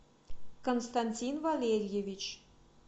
константин валерьевич